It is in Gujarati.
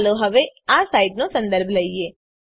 ચાલો હવે આ સાઈટનો સંદર્ભ લઈએ